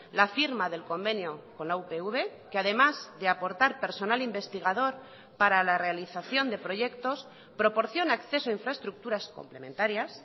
la firma del convenio con la upv que además de aportar personal investigador para la realización de proyectos proporciona acceso a infraestructuras complementarias